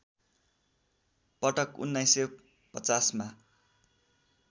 पटक १९५० मा